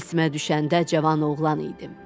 Tilsimə düşəndə cavan oğlan idim.